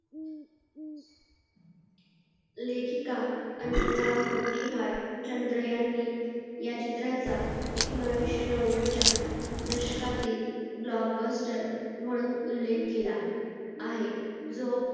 लेखिका अंजना मोतिहारचंद्र यांनी या चित्राचा एकोणीशे नव्वद च्या दशकातील blockbuster म्हणून उल्लेख केला आहे जो